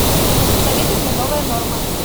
посоветуй мне новая норма